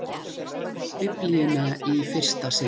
Biblíuna í fyrsta sinn.